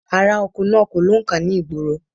Aráoko náà kò lóǹkà ni ìgboro